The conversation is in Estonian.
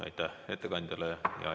Aitäh ettekandjale!